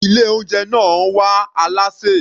Ilé oúnjẹ náà wá alásè.